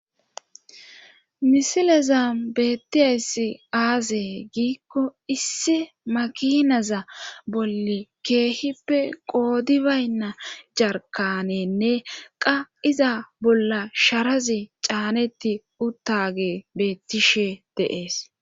misilezan beetiyayssi aaze giikko issi makinaza bolli keehippe qooodi baynna jarkanenne qa iza bolla sharazi caaneti utaage beetishe de'ees.